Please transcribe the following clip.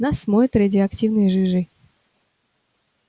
нас смоет радиоактивной жижей